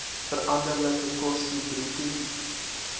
veranderlike koste bruto